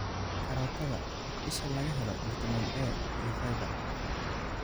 Karootada: isha laga helo fiitamiin A iyo fiber.